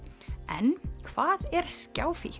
en hvað er